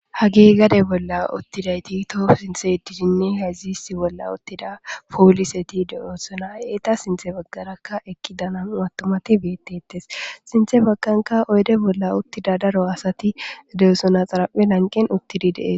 Haggey gaade bolla uttidi toho sinththe yeddidine hayzi issi bolla uttida polliseti de'ossona eeta sinththe baggaraka eqqida nam'u attumati bettetes sinththe baggerakka oydde bolla uttida daro asati de'osona xaraphphe lanqqen uttidi de'es.